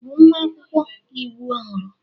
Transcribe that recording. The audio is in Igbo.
Ị bụ nwa akwụkwọ iwu ọhụrụ?